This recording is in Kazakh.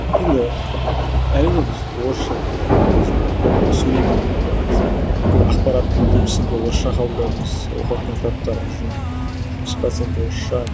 енді әрине біз орысша мен өзім сөйлеймін ғой енді бәріміз де бүкіл ақпараттың көбісін де орысша қабылдаймыз оқыватқан кітаптарымыздың жүз проценті орысша